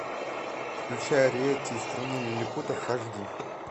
включай ариэтти из страны лилипутов аш ди